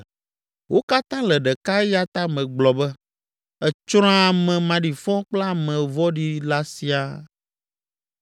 Wo katã le ɖeka eya ta megblɔ be, ‘Etsrɔ̃a ame maɖifɔ kple ame vɔ̃ɖi la siaa.’